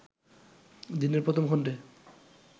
দিনের প্রথম খণ্ডে